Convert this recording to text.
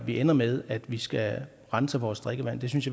det ender med at vi skal rense vores drikkevand jeg synes